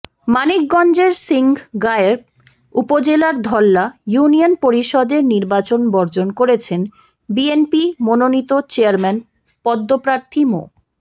মানিকগঞ্জের সিংগাইর উপজেলার ধল্লা ইউনিয়ন পরিষদের নির্বাচন বর্জন করেছেন বিএনপি মনোনীত চেয়ারম্যান পদপ্রার্থী মো